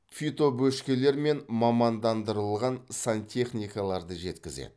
фитобөшкелер мен мамандандырылған сантехникаларды жеткізеді